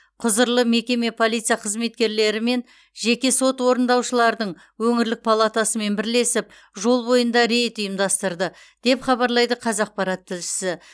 құзырлы мекеме полиция қызметкерлері мен жеке сот орындаушылардың өңірлік палатасымен бірлесіп жол бойында рейд ұйымдастырды деп хабарлайды қазақпарат тілшісі